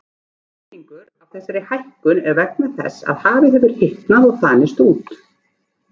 Helmingur af þessari hækkun er vegna þess að hafið hefur hitnað og þanist út.